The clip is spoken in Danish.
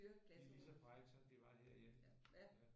De er lige så frække som de var herhjemme